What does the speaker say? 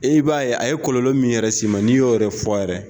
E b'a ye a ye kɔlɔ min yɛrɛ s'i ma n'i y'o yɛrɛ fɔ yɛrɛ